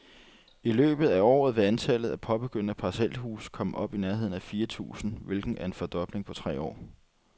I løbet af året vil antallet af påbegyndte parcelhuse komme op i nærheden af fire tusind, hvilket er en fordobling på tre år.